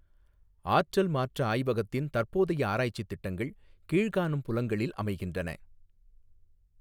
ஆற்றல் மாற்றஆய்வகத்தின் தற்போதைய ஆராய்ச்சி திட்டங்கள் கீழ்காணும் புலங்களில் அமைகின்றன